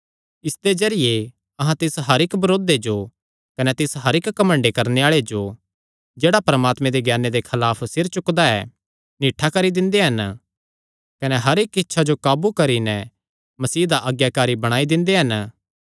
इसदे जरिये अहां तिस हर इक्क बरोधे जो कने तिस हर इक्क घमंड करणे आल़े जो जेह्ड़ा परमात्मे दे ज्ञाने दे खलाफ सिरे चुकदा ऐ निठ्ठा करी दिंदे हन कने हर इक्क इच्छा जो काबू करी नैं मसीह दा आज्ञाकारी बणाई दिंदे हन